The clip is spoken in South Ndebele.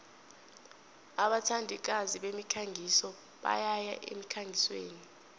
abathandikazi bemikhangiso bayaya emkhangisweni